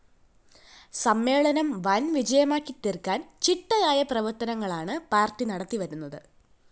സമ്മേളനം വൻ വിജയമാക്കി തീര്‍ക്കാന്‍ ചിട്ടയായ പ്രവര്‍ത്തനങ്ങളാണ്‌ പാര്‍ട്ടി നടത്തിവരുന്നത്‌